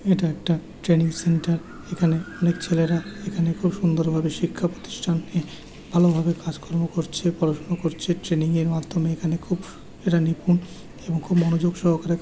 এটা একটা training centre এখানে অনেক ছেলেরা এখানে খুব সুন্দর ভাবে শিক্ষা প্রতিষ্ঠানকে ভালোভাবে কাজকর্ম করছে পড়াশুনা করছে ট্রেনিং -এর মাধ্যমে এঁরা নিপুন এবং খুব মনোযোগ সহকারে --